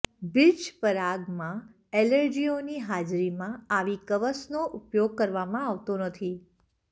birch પરાગમાં એલર્જીઓની હાજરીમાં આવી કવસનો ઉપયોગ કરવામાં આવતો નથી